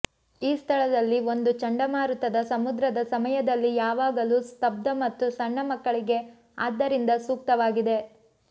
ಈ ಸ್ಥಳದಲ್ಲಿ ಒಂದು ಚಂಡಮಾರುತದ ಸಮುದ್ರದ ಸಮಯದಲ್ಲಿ ಯಾವಾಗಲೂ ಸ್ತಬ್ಧ ಮತ್ತು ಸಣ್ಣ ಮಕ್ಕಳಿಗೆ ಆದ್ದರಿಂದ ಸೂಕ್ತವಾಗಿದೆ